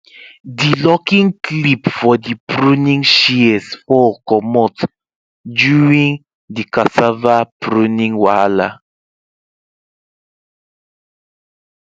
di locking clip for the pruning shears fall comot during the cassava pruning wahala